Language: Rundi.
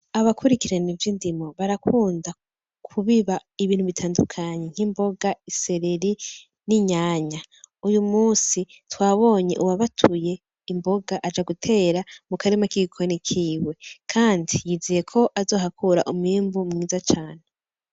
Abakurikirana ivy'indimo barakunda kubiba ibintu bitandukanye nk'imboga, isereri, n'inyanya, uyu musi twabonye uwabatuye imboga aja gutera mu karima k'igikoni kiwe kandi yizeye ko azohakura umwimbu mwiza cane.